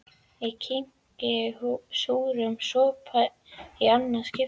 Ég kyngi súrum sopa í annað skipti.